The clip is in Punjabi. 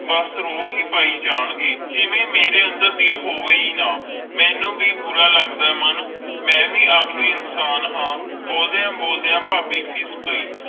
ਬਸ ਰੌਬ ਹੈ ਪੈ ਜਾਨ ਗਏ ਜਿਵੇ ਮੇਰੇ ਅੰਦਰ ਦਿਲ ਹੋਵੇ ਹੈ ਨਾ ਮੇਨੂ ਵੀ ਬੁਰਾ ਲੱਗਦਾ ਆਈ ਮਨ ਮਈ ਵੇ ਆਖ਼ਰ ਇਨਸਾਨ ਹਨ ਬੋਲਦਿਆਂ ਬੋਲਦਿਆਂ ਫਾਬੀ ਫੀਸ ਪੈ